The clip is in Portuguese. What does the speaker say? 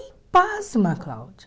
E pasma, Cláudia.